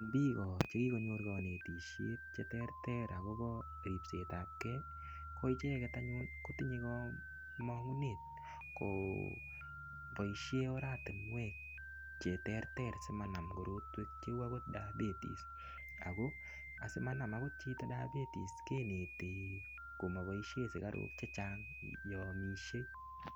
Biko chekikonyor kanetishet cheterter akobo ripsetab kei koicheget anyun kotinyei komong'unet koboishe oratinwek cheterter simanam korotwek cheu akot diabetes ako asimanam akot chito diabetes keneti komaboishe sikarok chechang' yo omishei